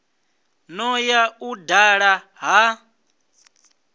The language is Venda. no ya u dala ha